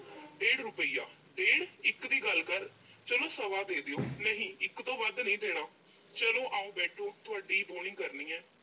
ਡੇਢ ਰੁਪਈਆ, ਡੇਢ? ਇੱਕ ਦੀ ਗੱਲ ਕਰ। ਚਲੋ ਸਵਾ ਦੇ ਦਿਓ। ਨਹੀਂ ਇੱਕ ਤੋਂ ਵੱਧ ਨੀਂ ਦੇਣਾ। ਚਲੋ ਆਓ ਬੈਠੋ, ਤੁਹਾਡੀ ਈ ਬੋਹਣੀ ਕਰਨੀ ਆ।